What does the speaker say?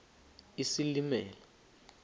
isilimela